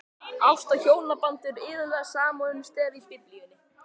Ást og hjónaband eru iðulega samofin stef í Biblíunni.